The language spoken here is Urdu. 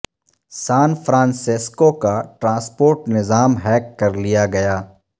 سان فرانسسکو کا ٹرانسپورٹ نظام ہیک کر لیا گیا